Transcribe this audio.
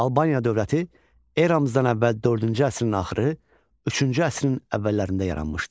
Albaniya dövləti eramızdan əvvəl dördüncü əsrin axırı, üçüncü əsrin əvvəllərində yaranmışdı.